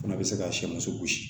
Fana bɛ se ka sɛgɛn gosi